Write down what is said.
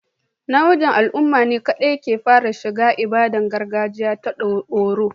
Namijin al'umma ne kaɗai aka fara shiga ibadar gargajiya ta oro